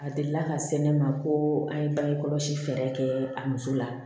A delila ka se ne ma ko an ye bange kɔlɔsi fɛɛrɛ kɛ a muso la